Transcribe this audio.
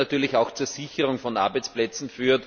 Das führt natürlich auch zur Sicherung von Arbeitsplätzen.